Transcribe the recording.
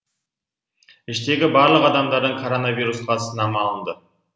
іштегі барлық адамдардан коронавирусқа сынама алынды